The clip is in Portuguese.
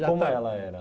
Como que ela era?